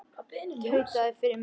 Tautaði fyrir munni sér.